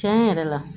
Tiɲɛ yɛrɛ la